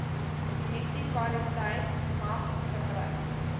munisipaliteit mag gebruik